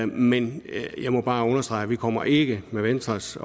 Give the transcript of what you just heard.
men jeg må bare understrege at vi kommer ikke med venstres